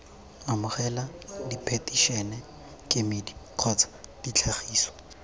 amogela diphetišene kemedi kgotsa ditlhagiso